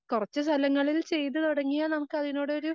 കൊറച്ച് സ്ഥലങ്ങളിൽ ചെയ്തുടങ്ങിയാൽ നമുക്കതിനൊടൊരു